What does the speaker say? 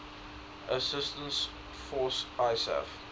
assistance force isaf